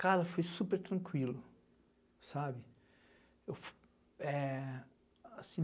Cara, fui super tranquilo, sabe? Eu fu, é... Assim,